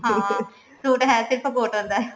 ਹਾਂ suit ਹੈ ਸਿਰਫ cotton ਦਾ